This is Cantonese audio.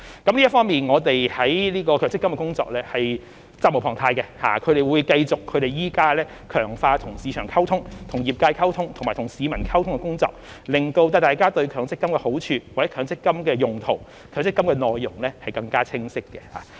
就此方面，我們就強積金的工作是責無旁貸的，會繼續強化與市場溝通、與業界溝通，以及與市民溝通的工作，令大家對強積金的好處、強積金的用途及強積金的內容更清晰。